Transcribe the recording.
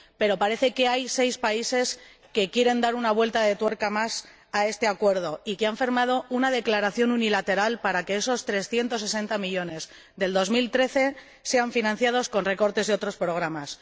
Pero parece que hay seis países que quieren dar una vuelta de tuerca más a este acuerdo y que han firmado una declaración unilateral para que esos 360 millones de 2013 sean financiados con recortes de otros programas.